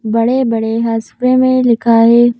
बड़े-बड़े हसफे में लिखा है।